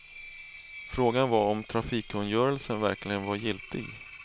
Frågan var om vägtrafikkungörelsen verkligen var giltig.